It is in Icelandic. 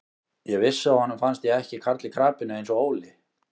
Ég vissi að honum fannst ég ekki karl í krapinu eins og Óli.